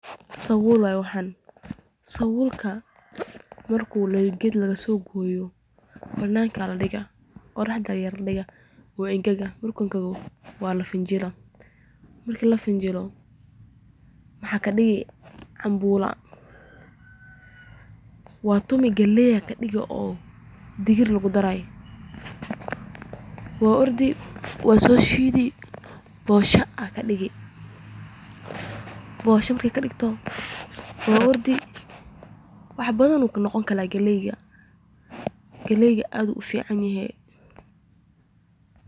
Sabuul waye waxaan, marka geed laga soo gooyo, banaanka ayaa ladigaa, wuu engega, waa lafanjilaa, galeey ayaa laga digaa, waa laso shiida boosha ayaa laga digaa aad ayuu ufican yahay.